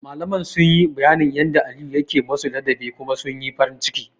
Malaman sun yi bayanin yanda Aliyu yake musu ladabi kuma sun yi farin ciki.